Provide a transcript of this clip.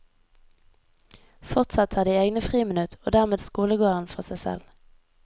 Fortsatt har de egne friminutt, og dermed skolegården for seg selv.